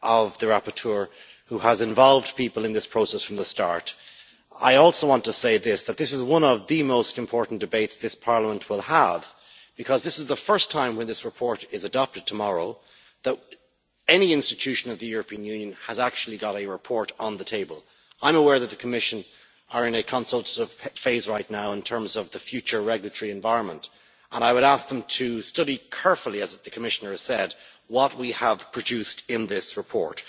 The rapporteur has involved people in this process from the start. I also want to say that this is one of the most important debates this Parliament will have, because this is the first time, when this report is adopted tomorrow, that any institution of the European Union has actually got a report on the table. I am aware that the Commission is in a consultative phase right now in terms of the future regulatory environment, and I would ask them to study carefully, as the Commissioner said, what we have produced in this report.